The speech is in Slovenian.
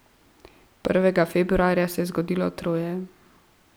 Prvega februarja se je zgodilo troje.